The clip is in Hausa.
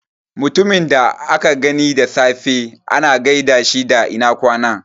Mutumin da aka gani da safe ana gaida shi da ina ƙwana